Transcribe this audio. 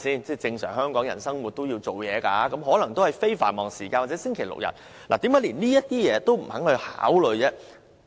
一般香港人都要上班，只可能在非繁忙時間或星期六、日才去遛狗，為何連這些提議也不肯考慮？